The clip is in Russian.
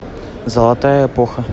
золотая эпоха